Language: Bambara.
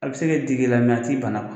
A bɛ se ka dig'i la mɛ a t'i bana.